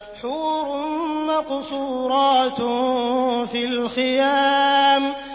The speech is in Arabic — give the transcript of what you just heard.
حُورٌ مَّقْصُورَاتٌ فِي الْخِيَامِ